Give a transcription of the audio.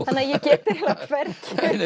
þannig að ég get hvergi